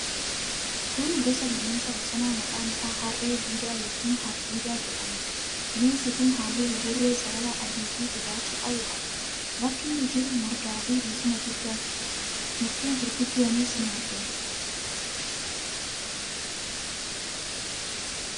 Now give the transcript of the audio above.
Kun gosa bineensa bosonaa maqaan isaa harree didaa yookiin hardiida jedhamuudha. Bineensi kun halluu buburree, sarara adiifi gurraacha qabu qaba. Bakka inni jiru margaafi bosona guddaatu jira. Mukkeen guguddoonis ni argamu.